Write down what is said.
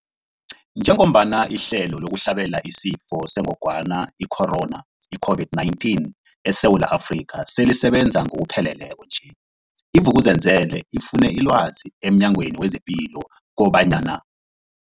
Njengoba ihlelo lokuhlabela isiFo sengogwana i-Corona, i-COVID-19, eSewula Afrika selisebenza ngokupheleleko nje, i-Vuk'uzenzele ifune ilwazi emNyangweni wezePilo kobanyana.